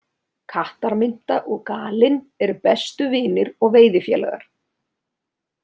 Kattarmynta og Galinn eru bestu vinir og veiðifélagar.